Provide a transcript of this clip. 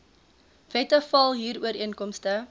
wette val huurooreenkomste